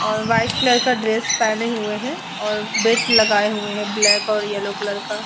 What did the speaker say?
और white colour का dress पहने हुए हैं और बेल्ट लगाए हुए हैं ब्लैक और येलो कलर का।